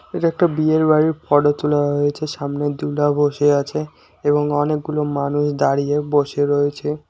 এটা একটা বিয়ের বাড়ির ফটো তোলা হয়েছে সামনে দুলহা বসে আছে এবং অনেকগুলো মানুষ দাঁড়িয়ে বসে রয়েছে।